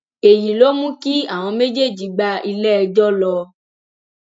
èyí ló mú kí àwọn méjèèjì gba iléẹjọ lọ